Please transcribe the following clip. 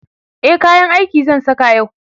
e kayan aiki zan Saka yau